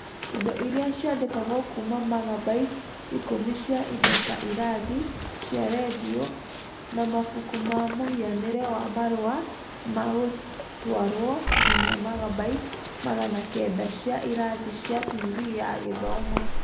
Indo iria ciandĩkagwo kuuma magabyte ikũmi cia indo ta irathi cia redio na mabuku ma mũhianĩre wa marũa ma gũtwarwo nginya magabyte magana kenda cia irathi cia tv ya githomo.